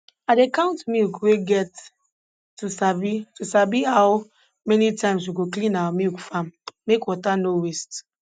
i dey count milk we get to sabi to sabi how many times we go clean our milk farm make water nor waste